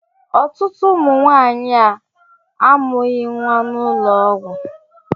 Ọtụtụ ụmụ nwanyị a amụghi nwa n'ụlọ ọgwụ.